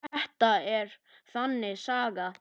Þetta er þannig saga.